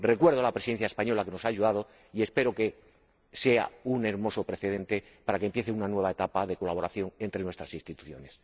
Recuerdo a la Presidencia española que nos ha ayudado y espero que sea un hermoso precedente para que empiece una nueva etapa de colaboración entre nuestras instituciones.